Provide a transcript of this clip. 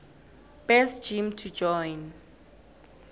best gym to join